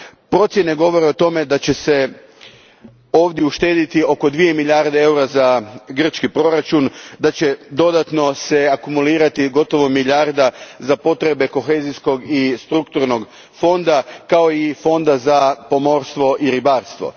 Procjene govore o tome da će se ovdje uštedjeti oko dvije milijarde eura za grčki proračun, da će se dodatno akumulirati gotovo milijarda za potrebe Kohezijskog i strukturnog fonda, kao i Fonda za pomorstvo i ribarstvo.